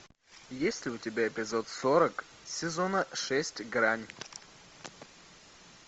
есть ли у тебя эпизод сорок сезона шесть грань